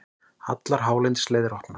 Allar hálendisleiðir opnar